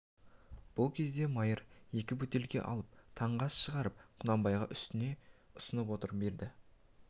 бұл кезде майыр екі бөтелке алып таңғы ас шығарып құнанбайға ұсына түсіп іше бастады